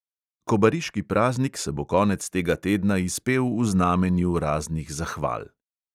Kobariški praznik se bo konec tega tedna izpel v znamenju raznih zahval.